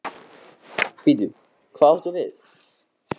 Gísli Auðbergsson: Bíddu, hvað áttu við?